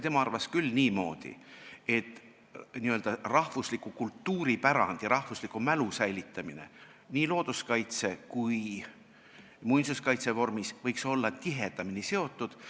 Tema arvas küll niimoodi, et n-ö rahvusliku kultuuripärandi ja rahvusliku mälu säilitamine nii looduskaitse kui ka muinsuskaitse vormis võiks olla tihedamini seotud.